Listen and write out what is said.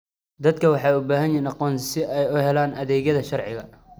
Dadku waxay u baahan yihiin aqoonsi si ay u helaan adeegyada sharciga.